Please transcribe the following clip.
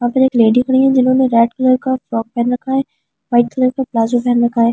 यहाँ पर एक लेडी खड़ी हुई है जिन्होंने रेड कलर का फ्रॉक पहन रखा है वाइट कलर का प्लाज़्ज़ो पहन रखा है।